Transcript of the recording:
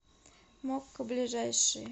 мокко ближайший